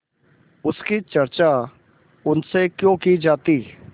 उसकी चर्चा उनसे क्यों की जाती